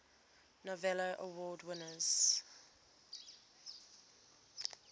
novello award winners